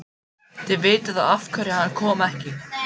Þið vitið þá af hverju hann kom ekki.